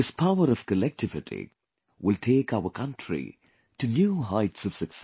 This power of collectivity will take our country to new heights of success